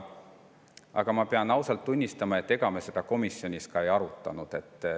Aga ma pean ausalt tunnistama, et ega me seda komisjonis ei arutanud.